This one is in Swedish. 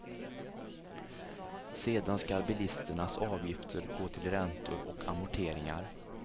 Sedan ska bilisternas avgifter gå till räntor och amorteringar.